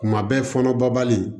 Kuma bɛɛ fɔɔnɔ babali